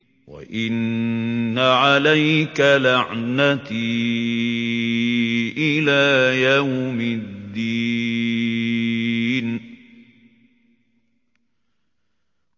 وَإِنَّ عَلَيْكَ لَعْنَتِي إِلَىٰ يَوْمِ الدِّينِ